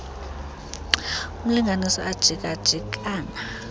urnlinganiswa ajika jikana